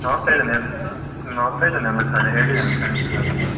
ನೋಡ್ತಾ ಇದ್ದೇನೆ ಎಲ್ಲ, ನೋಡ್ತಾ ಇದ್ದೇನೆ ಎಲ್ಲ ಕಡೆ ಹೇಳಿದ್ದೇನೆ friends ಎಲ್ಲರತ್ರ.